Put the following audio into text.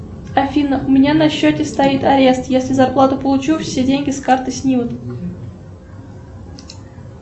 афина у меня на счете стоит арест если зарплату получу все деньги с карты снимут